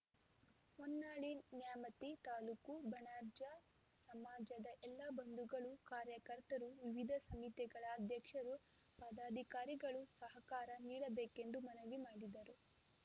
ಹೊನ್ನಾಳಿ ನ್ಯಾಮತಿ ತಾಲೂಕು ಬಣಜಾರ್‌ ಸಮಾಜದ ಎಲ್ಲಾ ಬಂಧುಗಳು ಕಾರ್ಯಕರ್ತರು ವಿವಿಧ ಸಮಿತಿಗಳ ಅಧ್ಯಕ್ಷರು ಪದಾಧಿಕಾರಿಗಳು ಸಹಕಾರ ನೀಡಬೇಕೆಂದು ಮನವಿ ಮಾಡಿದರು